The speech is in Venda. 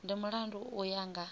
ndi mulandu u ya nga